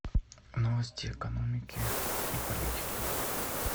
новости экономики и политики